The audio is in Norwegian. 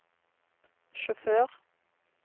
sjåfør